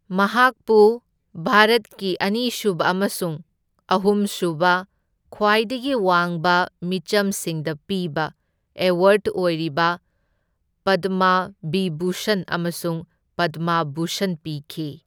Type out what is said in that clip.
ꯃꯍꯥꯛꯄꯨ ꯚꯥꯔꯠꯀꯤ ꯑꯅꯤꯁꯨꯕ ꯑꯃꯁꯨꯡ ꯑꯍꯨꯝꯁꯨꯕ ꯈ꯭ꯋꯥꯏꯗꯒꯤ ꯋꯥꯡꯕ ꯃꯤꯆꯝꯁꯤꯡꯗ ꯄꯤꯕ ꯑꯦꯋꯥꯔꯗ ꯑꯣꯏꯔꯤꯕ ꯄꯗꯃ ꯕꯤꯚꯨꯁꯟ ꯑꯃꯁꯨꯡ ꯄꯗꯃ ꯚꯨꯁꯟ ꯄꯤꯈꯤ꯫